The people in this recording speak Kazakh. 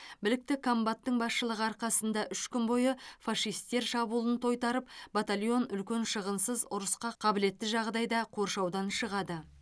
білікті комбаттың басшылығы арқасында үш күн бойы фашистер шабуылын тойтарып батальон үлкен шығынсыз ұрысқа қабілетті жағдайда қоршаудан шығады